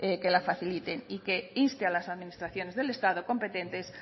que la faciliten y que inste a las administraciones del estado competentes